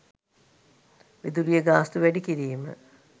විදුලිය ගාස්තු වැඩි කිරීම